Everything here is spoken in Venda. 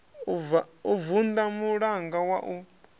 u vunḓa mulanga wa u